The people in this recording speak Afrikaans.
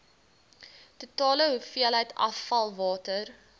totale hoeveelheid afvalwater